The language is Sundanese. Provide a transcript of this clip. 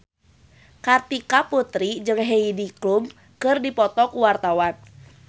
Kartika Putri jeung Heidi Klum keur dipoto ku wartawan